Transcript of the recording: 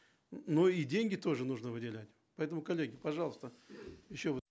но и деньги тоже нужно выделять поэтому коллеги пожалуйста еще вот